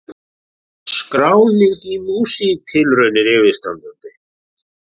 Skráning í Músíktilraunir yfirstandandi